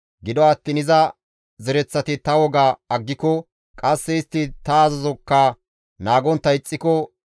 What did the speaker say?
«Gido attiin iza zereththati ta woga aggiko, qasse istti ta azazokka naagontta ixxiko,